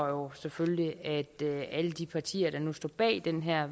jo selvfølgelig at alle de partier der nu står bag det her